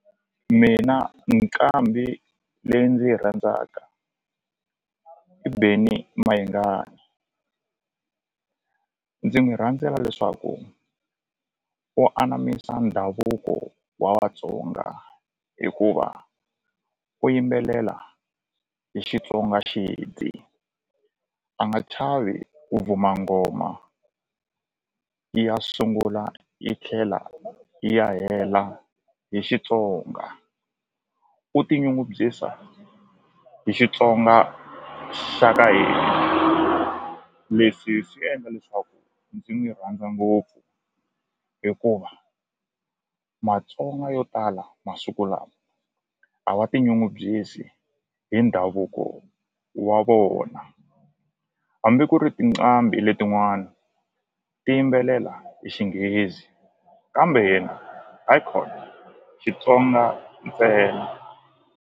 Mina nqambi leyi ndzi yi rhandzaka i Benny Mayengani ndzi n'wi rhandzela leswaku u anamisa ndhavuko wa Vatsonga hikuva u yimbelela hi Xitsonga a nga chavi ku vuma nghoma ya sungula yi ya tlhela yi ya hela hi Xitsonga u ti nyungubyisa hi Xitsonga xa ka hina leswi swi endla leswaku ndzi n'wi rhandza ngopfu hikuva Matsonga yo tala masiku lawa a wa tinyungubyisi hi ndhavuko wa vona hambi ku ri tinqambi letin'wani ti yimbelela hi xinghezi kambe yena hayikhona Xitsonga ntsena.